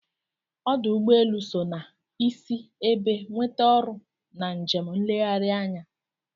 Ọ́dụ̀ ụ́gbọelụ́ so na-isi ebe nwete ọrụ na njem nlegharị anya.